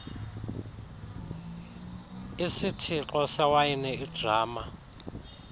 isithixo sewayini idrama